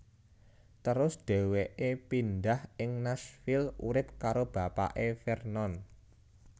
Terus dhéwéké pindhah ing Nashville urip karo bapake Vernon